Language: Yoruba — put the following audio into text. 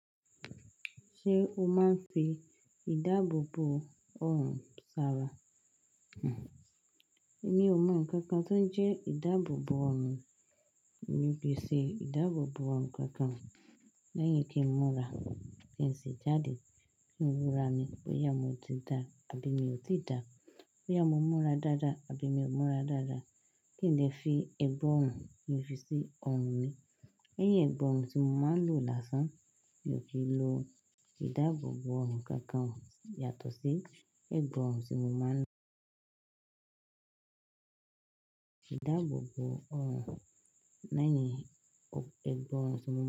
Ṣé o máa ń fi ìdáàbòbò ọrùn sara? Èmi ò mọ ǹkan kan tó ń jẹ́ ìdáàbòbò ọrùn. Èmi pé ṣe ìdáàbòbò ọrùn kankan. Lẹyìn kí n múra, kí n sì jáde, kí n wo ará mi bóyá mo ti dá àbí mi ò ti dá, bóyá mo múra dáadáa àbí mi ò múra dáadáa. Kí n dẹ́ fi ìbo ọrùn ki ń fi sí ọrùn mi. Lẹyìn ibo ọrùn tí mo máa ń lò lásán, mi ò kì í lo ìdáàbòbò ọrùn kankan yàtọ̀ sí ibo ọrùn tí mo máa ń lò. Ìdáàbòbò ọrùn lẹyìn ibo ọrùn tí mo máa ń lò.